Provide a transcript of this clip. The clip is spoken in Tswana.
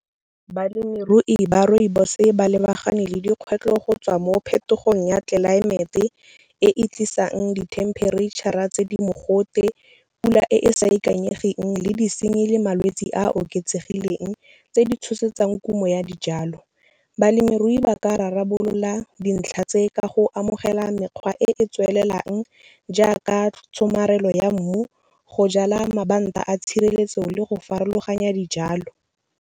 Balemirui ba rooibos ba lebagane le dikgwetlho go tswa mo phetogong ya tlelaemete e e tlisang dithemperetšhara tse di mogote, pula e e sa ikanyegang le disenyi le malwetse a oketsegileng tse di tshosetsang kumo ya dijalo. Balemirui ba ka rarabolola dintlha tse ka go amogela mekgwa e e tswelelang jaaka, tshomarelo ya mmu, go jala mabanta a tshireletso le go farologanya dijalo.